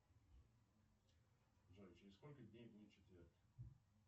джой через сколько дней будет четверг